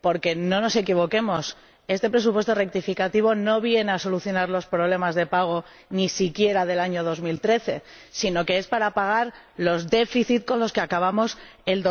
porque ―no nos equivoquemos― este presupuesto rectificativo no viene a solucionar los problemas de pago, ni siquiera del año 2013, sino que es para pagar los déficits con los que acabamos el